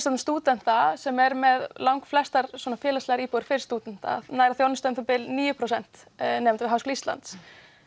stúdenta sem er með langflestar félagslegar íbúðir fyrir stúdenta nær að þjónusta um það bil níu prósent nema við Háskóla Íslands